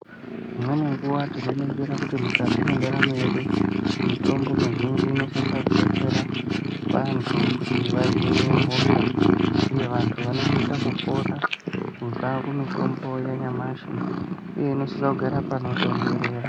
Imweni nguwa tinoningira kuti mukati mwendaramo yedu, mitombo mizhinji inosisa kudetsera vanthu kuti vahinwe hosha ,uye kuti vanthu vanosisa aurora kubva kumitombo yanyamashi, uye inosisa kugara panotonthorera.